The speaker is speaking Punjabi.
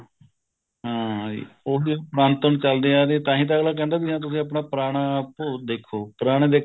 ਹਾਂ ਜੀ ਉਹ ਹੀ ਬਣਤਰ ਚੱਲਦੇ ਆ ਰਹੇ ਹੈ ਤਾਂਹੀ ਤਾਂ ਅਗਲਾ ਕਹਿੰਦਾ ਹਾ ਤੁਸੀਂ ਆਪਣਾ ਪੁਰਾਣਾ ਭੂਤ ਦੇਖੋ ਪੁਰਾਣੇ